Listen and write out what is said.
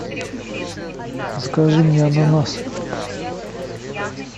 закажи мне ананасы